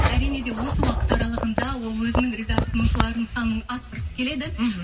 әрине де осы уақыт аралығында ол өзінің риза тұтынушыларын санын арттырып келеді мхм